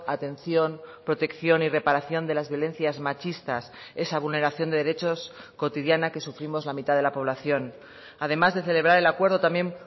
atención protección y reparación de las violencias machistas esa vulneración de derechos cotidiana que sufrimos la mitad de la población además de celebrar el acuerdo también